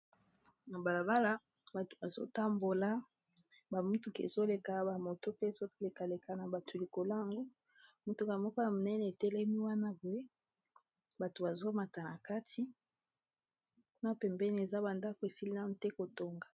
Na balabala bato bazo tambola ba mutuka ezoleka ba moto pe ezoleka leka na batu likolango mutuka moko ya monene etelemi wana poye bato bazomata na kati kuna pembeni eza bandako esili nanu te kotonga.